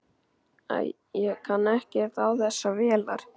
Æ, ég kann ekkert á þessar vélar.